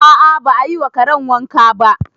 A'a ba a yi wa karen wanka ba